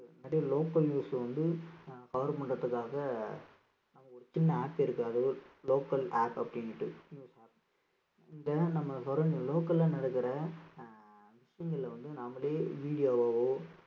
நிறைய local news வந்து அஹ் cover பண்றதுக்காக ஒரு சின்ன app இருக்கு local app அப்படின்னுட்டு இந்த நம்ம surroun~ local ல நடக்குற அஹ் விஷயங்கள்ல வந்து நாமளே video வாவோ